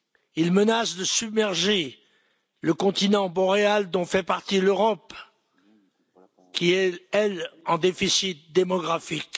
Il menace de submerger le continent boréal dont fait partie l'Europe qui est, elle, en déficit démographique.